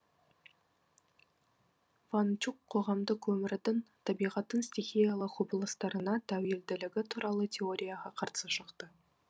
ван чук қоғамдық өмірдің табиғаттың стихиялы құбылыстарына тәуелділігі туралы теорияға қарсы шықты